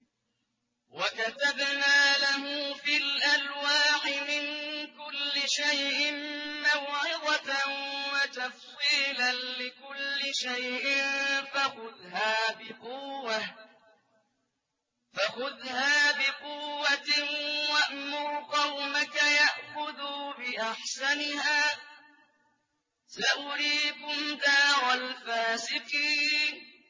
وَكَتَبْنَا لَهُ فِي الْأَلْوَاحِ مِن كُلِّ شَيْءٍ مَّوْعِظَةً وَتَفْصِيلًا لِّكُلِّ شَيْءٍ فَخُذْهَا بِقُوَّةٍ وَأْمُرْ قَوْمَكَ يَأْخُذُوا بِأَحْسَنِهَا ۚ سَأُرِيكُمْ دَارَ الْفَاسِقِينَ